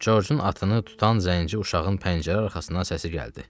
Corcun atını tutan zənci uşağın pəncərə arxasından səsi gəldi.